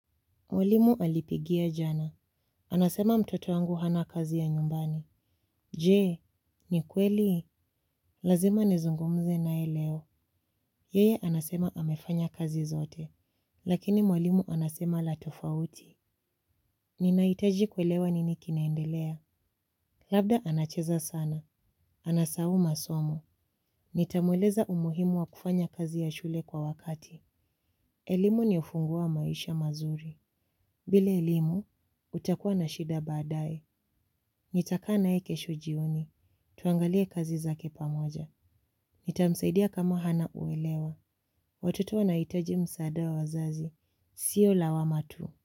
Mwalimu alipigia jana. Anasema mtoto wangu hana kazi ya nyumbani. Je, ni kweli? Lazima nizungumze naye leo. Yeye anasema amefanya kazi zote. Lakini mwalimu anasema la tofauti. Ninahitaji kuelewa nini kinaendelea. Labda anacheza sana. Anasahau masomo. Nitamweleza umuhimu wa kufanya kazi ya shule kwa wakati. Elimu ni ufunguo wa maisha mazuri. Bila elimu, nitakua na shida baadaye. Nitakaa naye kesho jioni. Tuangalie kazi zake pamoja. Nitamsaidia kama hana uelewa. Watoto wanahitaji msaada wa wazazi. Sio lawama tu.